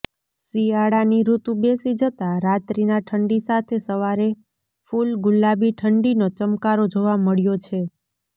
શિયાળાની ઋતુ બેસી જતા રાત્રીના ઠંડી સાથે સવારે ફૂલ ગુલાબી ઠંડીનો ચમકારો જોવા મળ્યો છે